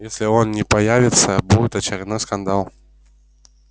если он не появится будет очередной скандал